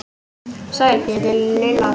Sæl, ég heiti Lilla